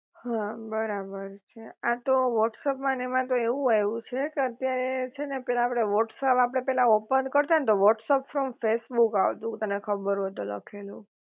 હા બરાબર છે, આતો વ્હોટ્સઍપ માં ને એમા તો એવું આવ્યું છે કે અત્યારે છે ને પેલા આપડે વ્હોટસઅપ આપડે પેલા ઓપન કરતાં ને તો વ્હોટ્સઅપ ફ્રોમ ફેસબુક આવતું તને ખબર હોય તો લખેલું